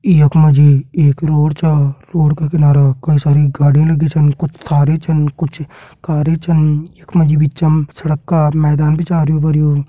यख मा जी एक रोड छा रोड का किनारा कई सारी गाड़ी लगीं छन कुछ कारी छन कुछ कारी छन यख मा जी भी चम सड़क का मैदान भी छा हरयूं भरयूं।